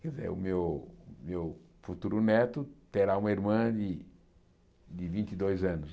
Quer dizer, o meu o meu futuro neto terá uma irmã de de vinte e dois anos